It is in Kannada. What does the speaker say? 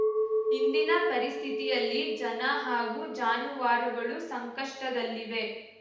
ಇಂದಿನ ಪರಿಸ್ಥಿತಿಯಲ್ಲಿ ಜನ ಹಾಗೂ ಜಾನುವಾರುಗಳು ಸಂಕಷ್ಟದಲ್ಲಿವೆ